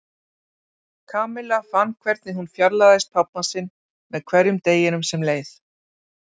Kamilla fann hvernig hún fjarlægðist pabba sinn með hverjum deginum sem leið.